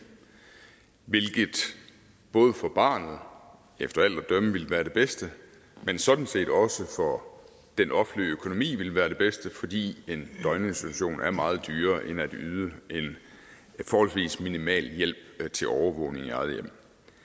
hvilket både for barnet efter alt at dømme ville være det bedste man sådan set også for den offentlige økonomi ville være det bedste fordi en døgninstitution er meget dyrere end at yde en forholdsvis minimal hjælp til overvågning i eget hjem